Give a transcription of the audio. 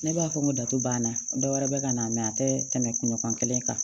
Ne b'a fɔ n ko datu banna dɔ wɛrɛ bɛ ka na mɛn a tɛ tɛmɛ kunɲɔgɔn kelen kan